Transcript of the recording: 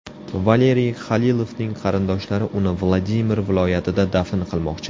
Valeriy Xalilovning qarindoshlari uni Vladimir viloyatida dafn qilmoqchi.